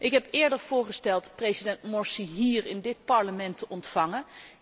Ik heb eerder voorgesteld president Morsi hier in dit Parlement te ontvangen.